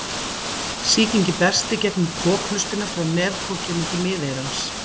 Sýkingin berst í gegnum kokhlustina frá nefkokinu til miðeyrans.